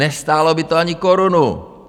Nestálo by to ani korunu.